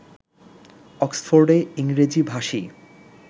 অক্সফোর্ডে ইংরেজিভাষী